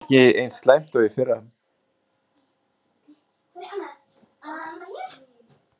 Ekki eins slæmt og í fyrra